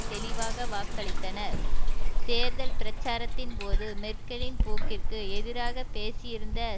தெளிவாக வாக்களித்தனர் தேர்தல் பிரச்சாரத்தின்போது மெர்க்கலின் போக்கிற்கு எதிராக பேசியிருந்த